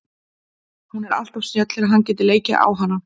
Hún er alltof snjöll til að hann geti leikið á hana.